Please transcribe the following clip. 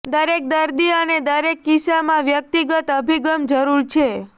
દરેક દર્દી અને દરેક કિસ્સામાં વ્યક્તિગત અભિગમ જરૂર છે